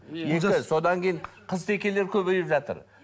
содан кейін қызтекелер көбейіп жатыр